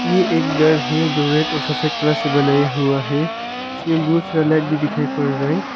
ये एक घर है जो रैड और सफेद कलर से बनाया हुआ है इसमें बहुत सारा लाइट भी दिखाई पड़ रहा है।